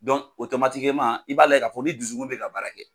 i b'a la ka fɔ ni dusukun bɛ ka baara kɛ.